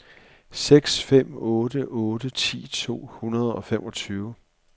seks fem otte otte ti to hundrede og femogtyve